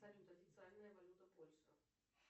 салют официальная валюта польши